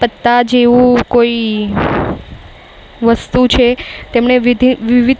પત્તા જેવું કોઈ વસ્તુ છે. તેમને વિધિ વિવિધ--